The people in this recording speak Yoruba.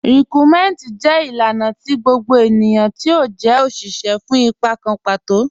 Rikúnmẹntí jẹ́ ilànà tì gbogbo ẹniyan tí ó jẹ́ oṣiṣẹ́ fún ìpà kàn patò.